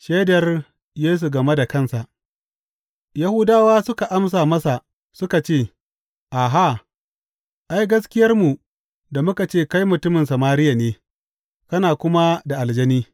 Shaidar Yesu game da kansa Yahudawa suka amsa masa suka ce, Aha, ai, gaskiyarmu da muka ce kai mutumin Samariya ne, kana kuma da aljani.